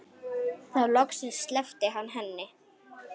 Þá loksins sleppti hann henni.